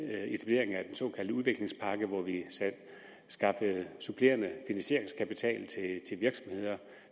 såkaldte udviklingspakke hvor vi skaffede supplerende finansieringskapital